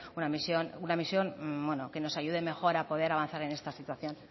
una visión que nos ayude mejor a poder avanzar en esta situación